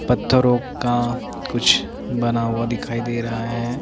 पत्थरों का कुछ बना हुआ दिखाई दे रहा है।